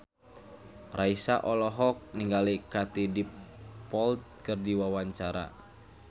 Raisa olohok ningali Katie Dippold keur diwawancara